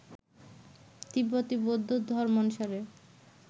তিব্বতি বৌদ্ধ ধর্মানুসারে